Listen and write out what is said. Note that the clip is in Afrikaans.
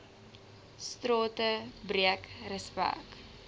strate breek respek